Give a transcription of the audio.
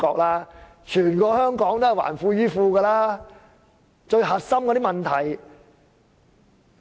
其實，全香港都是"還富於富"的，最核心的問題是......